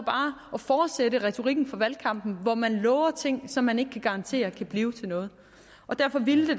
at fortsætte retorikken fra valgkampen hvor man lover ting som man ikke kan garantere kan blive til noget og derfor ville